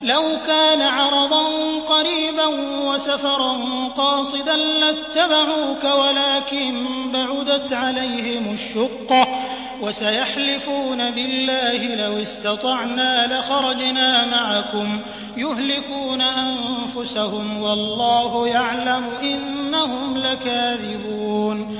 لَوْ كَانَ عَرَضًا قَرِيبًا وَسَفَرًا قَاصِدًا لَّاتَّبَعُوكَ وَلَٰكِن بَعُدَتْ عَلَيْهِمُ الشُّقَّةُ ۚ وَسَيَحْلِفُونَ بِاللَّهِ لَوِ اسْتَطَعْنَا لَخَرَجْنَا مَعَكُمْ يُهْلِكُونَ أَنفُسَهُمْ وَاللَّهُ يَعْلَمُ إِنَّهُمْ لَكَاذِبُونَ